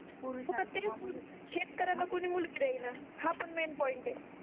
शेतकर्‍याला कोणी मुलगी देयना हा पण माइंपोइंट आहे